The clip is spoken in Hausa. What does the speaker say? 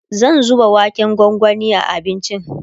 zan zuba waken gwangwani a abincin